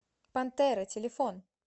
пантера телефон